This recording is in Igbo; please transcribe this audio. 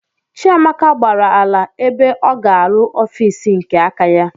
Chiamaka gbàrà ala ebe ọ ga-aru ọffici nke áká ya.